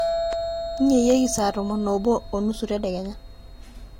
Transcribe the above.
nyeyieki saa tomo oobo oonusu tadekenya